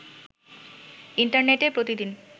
ইন্টারনেটে প্রতিদিন